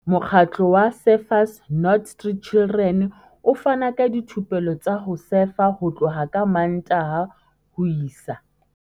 Mokgatlo wa Surfers Not Street Chidren o fana ka dithupelo tsa ho sefa ho tloha ka Mmantaha ho isa